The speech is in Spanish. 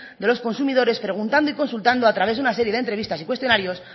de los consumidores preguntando y consultando a través de una serie de entrevistas y cuestionarios